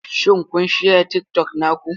Shin kun share TikTok naku?